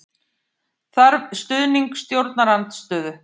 Þarf stuðning stjórnarandstöðu